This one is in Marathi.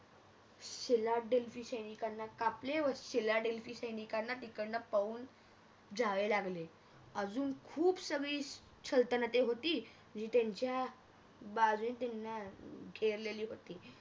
सिला ढलसी सैनिकांना कापले व सिला ढलसी सैनिकांना तिकडणं पळून जावे लागले अजून खूप सगळी सल्तनते होती आणि त्यांच्या बाजूने त्यांना घेरलेली होती